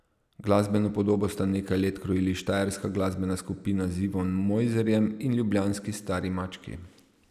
Glasbeno podobo sta nekaj let krojili štajerska glasbena skupina z Ivom Mojzerjem in ljubljanski Stari mački.